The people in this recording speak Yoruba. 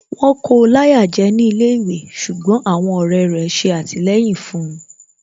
Wọ́n kóo láyà jẹ́ ní ilé ìwé ṣùgbọ́n àwọn ọ̀rẹ́ rẹ̀ ṣe àtìlẹyìn fun